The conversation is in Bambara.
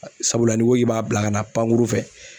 Sabula n'i ko k'i b'a bila ka na pankuru fɛ